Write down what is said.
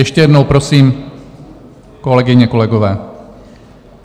Ještě jednou prosím, kolegyně, kolegové.